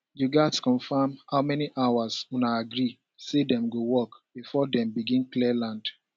you gats confirm how many hours una agree say dem go work before dem begin clear land